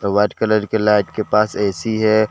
White colour के light के पास ए_सी है।